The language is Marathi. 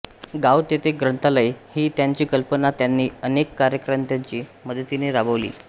गाव तेथे ग्रंथालय ही त्यांची कल्पना त्यांनी अनेक कार्यकर्त्यांच्या मदतीने राबवली